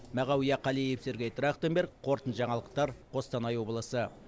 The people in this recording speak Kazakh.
мағауия қалиев сергей трахтенберг қорытынды жаңалықтар қостанай облысы